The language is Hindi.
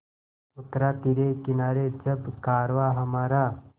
उतरा तिरे किनारे जब कारवाँ हमारा